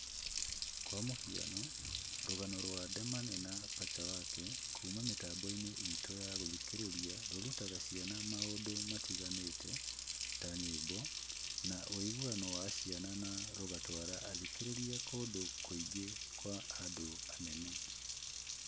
Kwa mũhiano, rũgano rwa Demane na Pacha Wake kuuma mĩtambo-inĩ itũ ya gũthikĩrĩria rũrutaga ciana maũndũ matiganĩte ta nyĩmbo, na ũiguano wa ciana na rũgatwara athikĩrĩria kũndũ kũngĩ kwa andũ anene